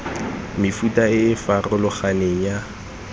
mefuta e e farologaneng ya